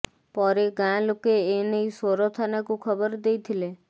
ପରେ ଗାଁ ଲୋକେ ଏନେଇ ସୋର ଥାନାକୁ ଖବର ଦେଇଥିଲେ